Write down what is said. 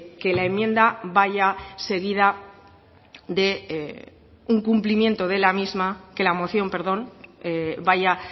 que la moción vaya